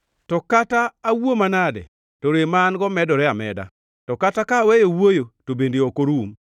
“To kata awuo manade, to rem ma an-go medore ameda; to kata ka aweyo wuoyo to bende ok orum.